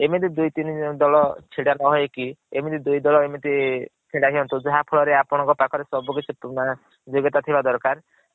ଏମିତି ଦୁଇ ତିନି ଦଳ ଛିଡା ନା ହୋଇ କି ଏମିତି ଦୁଇ ଦଳ ଏମିତି ଛିଡା ହୁଅନ୍ତୁ ଯାହା ଫଳ ରେ ସବୁ କିଛି ଯୋଗ୍ୟ ତା ଥିବା ଦରକାର